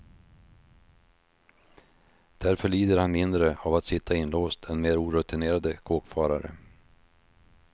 Därför lider han mindre av att sitta inlåst än mer orutinerade kåkfarare.